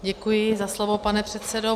Děkuji za slovo, pane předsedo.